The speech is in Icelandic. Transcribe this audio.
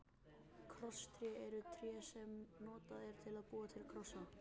Krosstré er tré sem notað er til að búa til krossa.